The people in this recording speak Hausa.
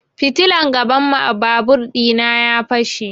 Fitilar gaban babur ɗina ya fashe